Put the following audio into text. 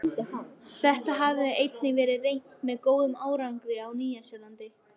Þetta hafði einnig verið reynt með góðum árangri á Nýja-Sjálandi.